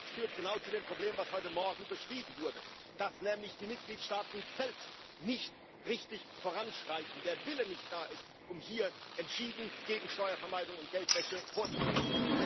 Das führt genau zu dem Problem, das heute Morgen beschrieben wurde, dass nämlich die Mitgliedstaaten selbst nicht richtig voranschreiten, der Wille nicht da ist, um hier entschieden gegen Steuervermeidung und Geldwäsche vorzugehen.